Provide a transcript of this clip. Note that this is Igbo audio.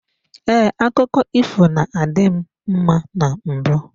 Ee, akụkọ ifo na-adị m mma na mbụ.